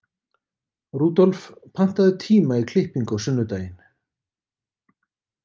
Rudolf, pantaðu tíma í klippingu á sunnudaginn.